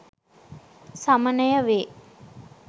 සමනය වේ.